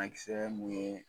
A kisɛ mun yɛ